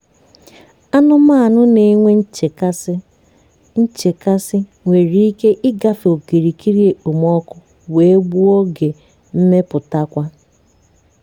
anumanu na-enwe nchekasị nchekasị nwere ike ịgafe okirikiri okpomọkụ wee gbuo oge mmeputakwa.